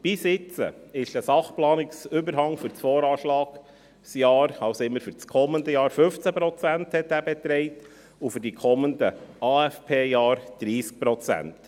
Bisher betrug der Sachplanungsüberhang für das Voranschlagsjahr, also immer für das kommende Jahr, 15 Prozent, und für die kommenden AFP-Jahre 30 Prozent.